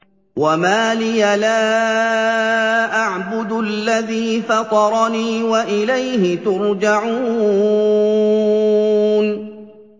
وَمَا لِيَ لَا أَعْبُدُ الَّذِي فَطَرَنِي وَإِلَيْهِ تُرْجَعُونَ